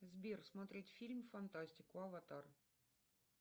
сбер смотреть фильм фантастику аватар